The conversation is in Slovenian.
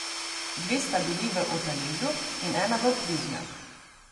Dve sta bili v Otaležu in ena v Plužnjah.